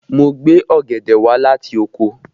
Mo gbé ọ̀gẹ̀dẹ̀ wálé láti oko